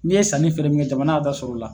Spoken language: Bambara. N'i ye sanni fɛɛrɛ min kɛ jamana b'a ta sɔrɔ o la